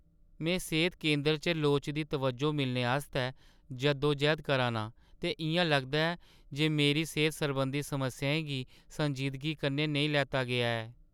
में सेह्‌त केंदरै च लोड़चदी तवज्जो मिलने आस्तै जद्दोजैह्द करा ना आं ते इ'यां लगदा ऐ जे मेरी सेह्त सरबंधी समस्याएं गी संजीदगी कन्नै नेईं लैता गेआ ऐ।